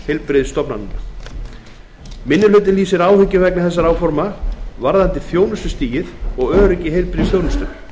heilbrigðisstofnana minni hlutinn lýsir áhyggjum vegna þessara áforma varðandi þjónustustigið og öryggi í heilbrigðisþjónustu